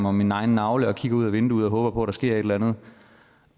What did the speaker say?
om min egen navle og kigger ud ad vinduet og håber på at der sker et eller andet